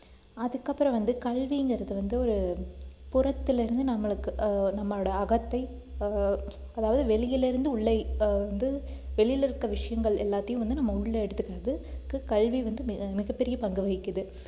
அதுக்கப்புறம் வந்து கல்விங்கிறது வந்து ஒரு புறத்துல இருந்து நம்மளுக்கு ஆஹ் நம்மளோட அகத்தை ஆஹ் அதாவது வெளியிலிருந்து உள்ளே ஆஹ் வந்து வெளியில இருக்கிற விஷயங்கள் எல்லாத்தையும் வந்து நம்ம உள்ள எடுத்துக்கிறதுக்கு கல்வி வந்து மிக மிகப்பெரிய பங்கு வகிக்குது